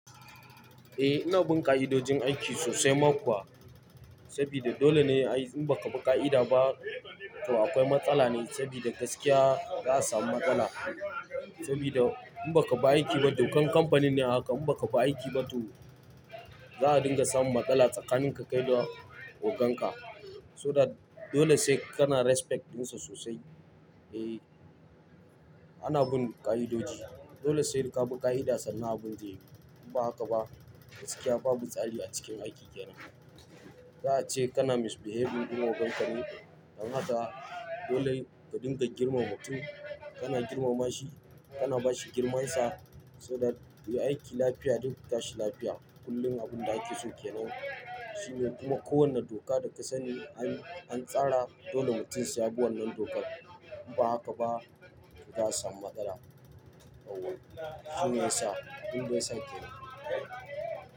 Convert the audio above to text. Eh, ina bin ƙa'idojin aiki sosai ma kuwa. Sabida dole ne ai in ba ka bi ƙa'ida ba to akwai matsala ne, sabida gaskiya za a samu matsala. Sabida in ba ka bi aiki ba, dokan kamfanin ne a haka, in ba ka bi aiki ba to, za a dinga samun matsala tsakanin ka kai da ogan ka. So that, dole sai kana respect ɗinsa sosai. Eh, ana bin ƙa'idoji. Dole sai ka bi ƙa'ida sannan abin zai yiwu. In ba haka ba gaskiya babu tsari a cikin aiki kenan. Za a ce kana misbehaving dun ogan ka ne. Dan haka dole ka dinga girmama mutum, kana girmama shi, kana bashi girmansa so that kuyi aiki lafiya duk ku tashi lafiya. Kullum abin da ake so kenan. Shine kuma kowanne doka da ka sani an, an tsara dole mutum sai yabi wannan dokar. In ba haka ba za a samu matsala. Yaww. Shine yasa, abinda yasa kenan.